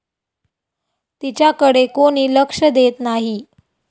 तिच्याकडे कोणी लक्ष देत नाही.